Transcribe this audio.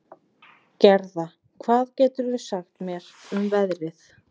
Gerða, hvað geturðu sagt mér um veðrið?